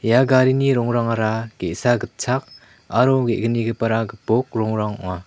ia garini rongrangara ge·sa gitchak aro ge·gnigipara gipok rongrang ong·a.